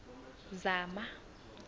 zama